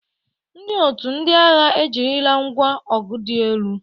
Ndị otu ndị agha ejirila ngwa ọgụ dị elu.